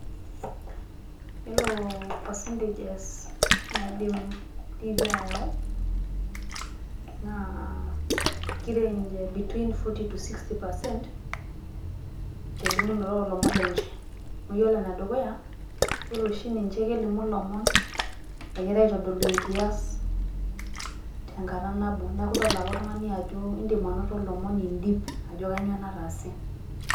Yielo percentages naidim Tiifii ayau naa kireng' between Forty to sixty percent telimunoto oolomon lenche. Amu yielo ene dukuya, ore oshi ninche kelimu ilomon egirae aatodolu engiyas teng'ata nabo, neeku idol ake oltung'ani ajo iidim anoto olomoni indip ajo kanyio nataase.